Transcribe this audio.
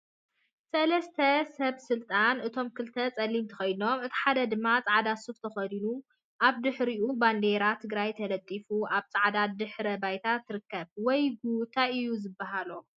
ሰለስተ ሰበ ስልጣን እቶም ክልተ ፀሊም ተከዲኖም እቲ ሓደ ድማ ፃዕዳ ሱፍ ተከዲኑ ኣብ ድሕሪኦም ባንዴራ ትግራይ ተለጢፋ ኣብ ጻዕዳ ድሕረ ባይታ ትርከብ። ወይ ጉድ ታይ እዩ ዝበሃሎ!